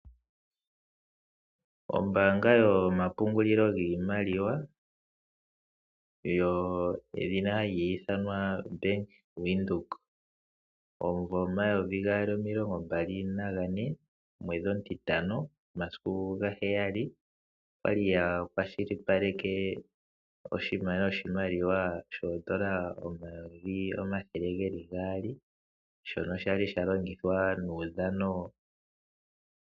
Ombaanga yomapungulilo giimaliwa yedhina Bank Windhoek omumvo omayovi gaali nomilongo mbali nane omwedhi omutitano omasiku gaheyali oyali yakwashilipaleke ongushu yoshimaliwa shoodola omayovi omathele gaali shono shali shalongithwa muudhano.